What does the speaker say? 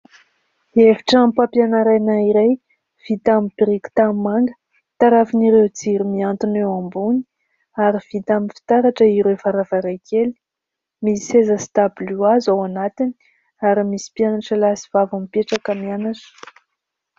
Efitranom-pampianarana iray vita amin'ny biriky tanimanga tarafin'ireo jiro mihantona eo ambony ary vita amin'ny fitaratra ireo varavarankely, misy seza sy tabilio hazo ao anatiny ary misy mpianatra lahy sy vavy mipetraka mianatra.